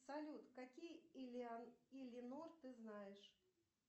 салют какие илинор ты знаешь